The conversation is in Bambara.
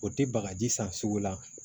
O tɛ bagaji san sugu la